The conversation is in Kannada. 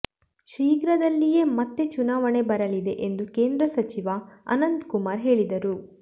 ಶೀಘ್ರದಲ್ಲಿಯೇ ಮತ್ತೇ ಚುನಾವಣೆ ಬರಲಿದೆ ಎಂದು ಕೇಂದ್ರ ಸಚಿವ ಅನಂತಕುಮಾರ್ ಹೇಳಿದರು